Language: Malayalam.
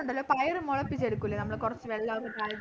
ഉണ്ടല്ലോ പയര് മുളപ്പിച്ചെടുക്കൂല നമ്മള് കുറച്ച വെള്ളോക്കെ